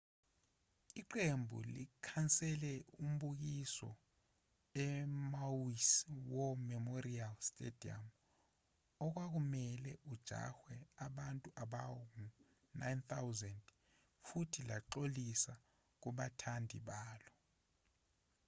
iqembu likhansele umbukiso emaui's war memorial stadium okwakumelwe uhanjelwe abantu abangu-9,000 futhi laxolisa kubathandi balo